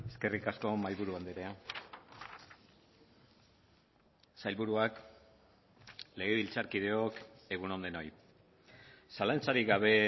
eskerrik asko mahaiburu andrea sailburuak legebiltzarkideok egun on denoi zalantzarik gabe